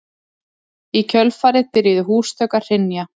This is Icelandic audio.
Í kjölfarið byrjuðu húsþök að hrynja